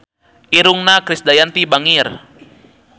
Irungna Krisdayanti bangir